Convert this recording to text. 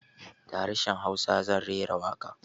Da harshen hausa zan rera waƙa